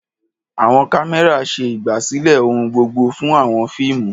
Àwọn kámẹ́rà ṣe ìgbàsílẹ̀ ohun gbogbo fún àwọn fíìmù.